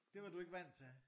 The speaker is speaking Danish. Det var du ikke vandt til